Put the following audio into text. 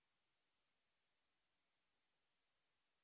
এই বিষয় বিস্তারিত তথ্যের জন্য contactspoken tutorialorg তে ইমেল করুন